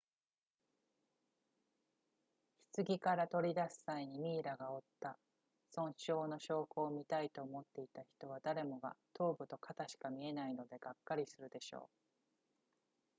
棺から取り出す際にミイラが負った損傷の証拠を見たいと思っていた人は誰もが頭部と肩しか見えないのでがっかりするでしょう